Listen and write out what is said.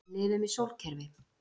Við lifum í sólkerfi.